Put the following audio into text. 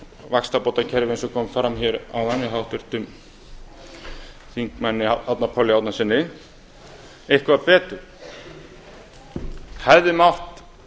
vaxtabótakerfi eins og kom fram hér áðan hjá háttvirtum þingmanni árna páli árnasyni eitthvað betur hefði mátt